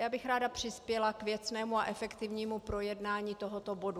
Já bych ráda přispěla k věcnému a efektivnímu projednání tohoto bodu.